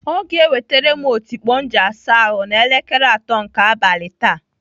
Ọ ga-ewetere m otikpo m ji asa ahụ n'elekere atọ nke abalị taa.